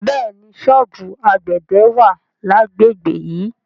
Bẹ́ẹ̀ni, ṣọ́ọ̀bù àgbẹ̀dẹ wà lágbègbè yìí.